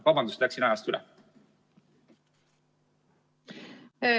Vabandust, et läksin ajast üle!